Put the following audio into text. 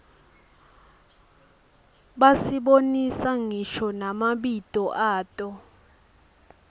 basibonisa ngisho namabito ato